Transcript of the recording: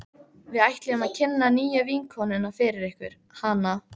Við ætluðum að kynna nýju vinnukonuna fyrir ykkur, hana